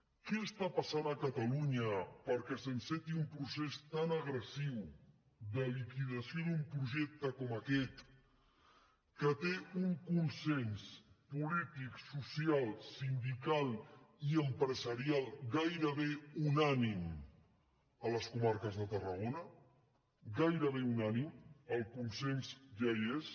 què està passant a catalunya perquè s’enceti un procés tan agressiu de liquidació d’un projecte com aquest que té un consens polític social sindical i empresarial gairebé unànime a les comarques de tarragona gairebé unànime el consens ja hi és